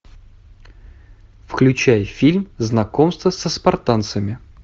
включай фильм знакомство со спартанцами